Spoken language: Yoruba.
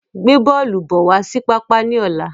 Gbe bọ́ọ́lù bọ̀ wá sí pápá ni ọ̀la!